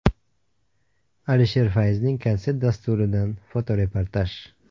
Alisher Fayzning konsert dasturidan fotoreportaj.